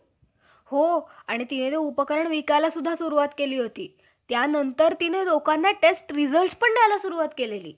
सावित्री हि ब्राम्हणाची पत्नी असतानाही त्यांचे त्या मुलाचे ओझे मुखात नऊ महिने वागवून त्यास जन्म देण्याचे व त्याचे पालन पोषण करण्याचे,